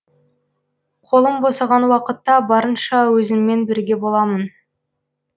қолым босаған уақытта барынша өзіңмен бірге боламын